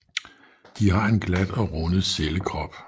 De har en glat og rundet cellekrop